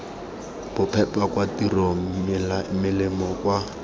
bophepa kwa tirong melemo kwa